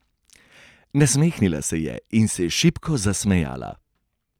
Nasmehnila se je in se šibko zasmejala.